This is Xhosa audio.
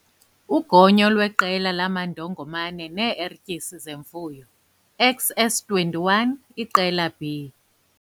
Ugonyo lweqela lamandongomane nee-Ertyisi zeMfuyo, XS21 iqelaB.